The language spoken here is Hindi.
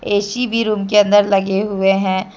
ऐ_सी भी रूम के अंदर लगे हुए हैं।